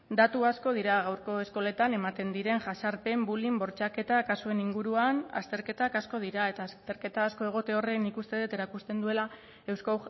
datu asko dira gaurko eskoletan ematen diren jazarpen bullying bortxaketa kasuen inguruan azterketak asko dira eta azterketa asko egote horren nik uste dut erakusten duela eusko